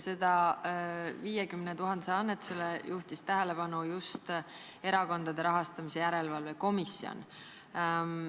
Sellele annetusele juhtis tähelepanu just Erakondade Rahastamise Järelevalve Komisjon.